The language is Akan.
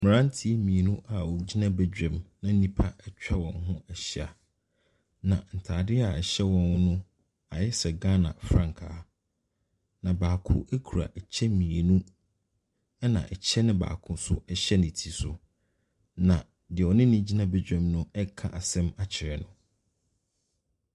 Mmeranteɛ mmienu a wɔgyina badwam na nnipa atwa wɔn ho ahyia. Na ntadeɛ a ɛhyɛ wɔn, no ayɛ sɛ Ghana frankaa. Na baako kura ɛkyɛ mmienu, ɛna ɛkyɛ no baakonsohyɛ ne ti so. Na deɛ ɔne no gyina badwam no reka asɛm akyerɛ no.